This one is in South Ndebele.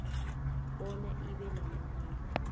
bona ibe namandla